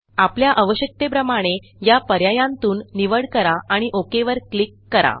आपल्या आवश्यकतेप्रमाणे या पर्यायांतून निवड करा आणि ओक वर क्लिक करा